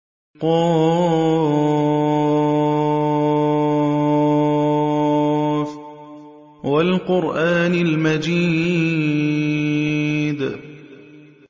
ق ۚ وَالْقُرْآنِ الْمَجِيدِ